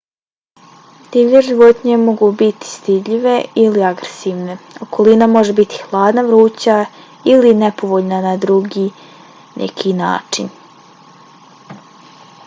divlje životinje mogu biti stidljive ili agresivne. okolina može biti hladna vruća ili nepovoljna na neki drugi način